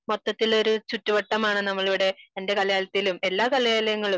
മൊത്തത്തിൽ ഒരു ചുറ്റുവട്ടമാണ് നമ്മളിവിടെ എന്റെ കലാലയത്തിലും എല്ലാ കലാലയങ്ങളിലും